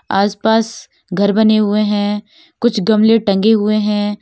आसपास घर बने हुए हैं। कुछ गमले टंगे हुए है।